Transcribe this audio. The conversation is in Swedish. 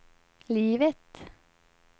livet